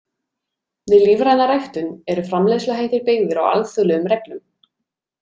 Við lífræna ræktun eru framleiðsluhættir byggðir á alþjóðlegum reglum.